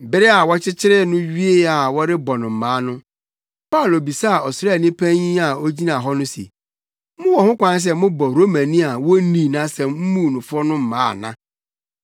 Bere a wɔkyekyeree no wiee a wɔrebɛbɔ no mmaa no, Paulo bisaa ɔsraani panyin a na ogyina hɔ no se, “Mowɔ ho kwan sɛ mobɔ Romani a wonnii nʼasɛm mmuu no fɔ no mmaa ana?”